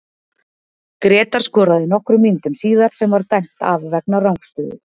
Grétar skoraði nokkrum mínútum síðar sem var dæmt af vegna rangstöðu.